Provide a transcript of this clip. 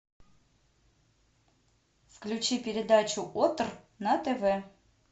включи передачу отр на тв